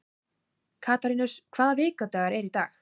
Katarínus, hvaða vikudagur er í dag?